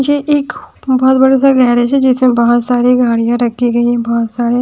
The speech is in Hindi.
ये एक बहुत बड़ा सा गैरेज है जिसमें बहुत सारी गाड़ियां रखी गई है बहुत सारे--